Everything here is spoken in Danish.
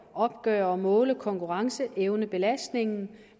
opgøre og måle konkurrenceevnebelastningen